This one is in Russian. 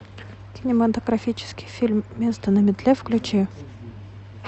кинематографический фильм место на метле включи